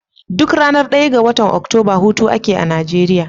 Duk ranar daya ga watan oktoba hutu ake a Nigeria.